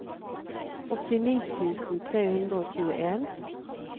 åttini tusen tre hundre og tjueen